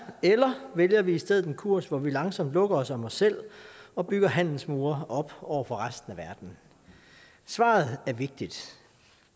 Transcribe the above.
eller vælger vi i stedet en kurs hvor vi langsomt lukker os om os selv og bygger handelsmure op over for resten af verden svaret er vigtigt